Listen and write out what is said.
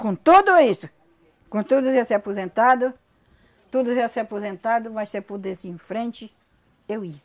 Com tudo isso, com tudo isso ia ser aposentado, tudo ia ser aposentado, mas se eu pudesse ir em frente, eu ia.